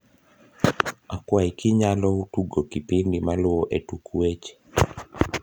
akwai ki inyalo tugo kipindi maluo e tuk weche